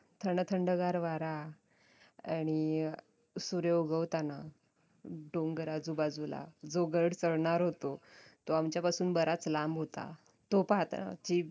थंडथंडगार वारा आणि अं सूर्य उगवताना डोंगर आजूबाजूला जो गड चढणार होतो तो आमच्या पासून बराच लांब होता तो पाहताना